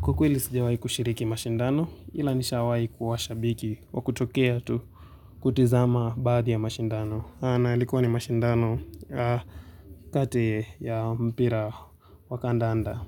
Kwa ukweli sijawai kushiriki mashindano ila nishawai kuwa shabiki wa kutokea tu kutizama baadhi ya mashindano. Na likuwa ni mashindano kati ya mpira wa kandanda.